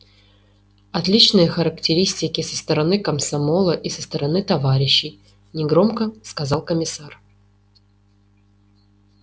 отличные характеристики со стороны комсомола и со стороны товарищей негромко сказал комиссар